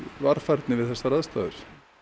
varfærni við þessar aðstæður